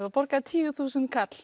og borgaði tíu þúsund